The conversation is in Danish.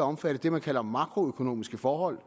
at omfatte det man kalder makroøkonomiske forhold